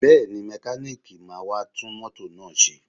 Bẹ́ẹ̀ni, mẹkáníìkì máa wá tún mọ́tò náà ṣe